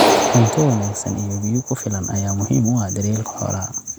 Cunto wanaagsan iyo biyo ku filan ayaa muhiim u ah daryeelka xoolaha.